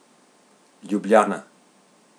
Ljubljana.